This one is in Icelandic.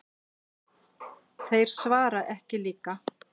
Þeir svara ekki líka.